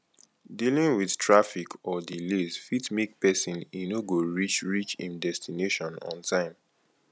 dealing with traffic or delays fit make pesin e no go reach reach im destination on time